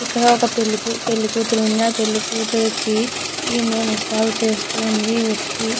ఇక్కడ ఒక పెళ్లి కూతురు ఉంది ఆ పెళ్ళికూతురుకి ఈమె ముస్తాబు చేస్తుంది ఒక వ్యక్తి.